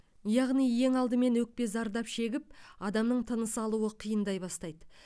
яғни ең алдымен өкпе зардап шегіп адамның тынысы алуы қиындай бастайды